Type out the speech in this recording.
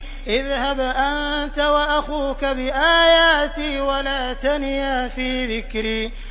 اذْهَبْ أَنتَ وَأَخُوكَ بِآيَاتِي وَلَا تَنِيَا فِي ذِكْرِي